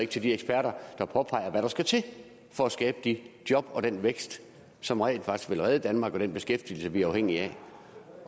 til de eksperter der påpeger hvad der skal til for at skabe de job og den vækst som rent faktisk ville redde danmark og den beskæftigelse som vi er afhængige af